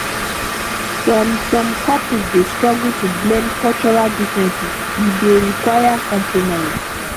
some some couples dey struggle to blend cultural differences e dey require compromise